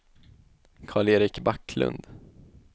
Karl-Erik Backlund